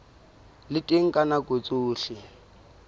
le teng ka nako tsohle